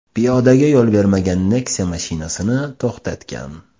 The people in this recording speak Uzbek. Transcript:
piyodaga yo‘l bermagan Nexia mashinasini to‘xtatgan.